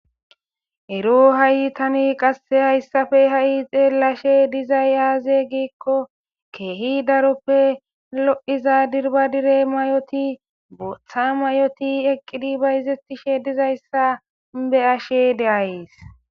Ero haytani qasse hayssafe ha7i xeellashe dizay aaze giikko keehi daroppe lo7iza dirba dire may7oti botha mayoti eqqidi bayzetishe dizayssa be ashe de'ays.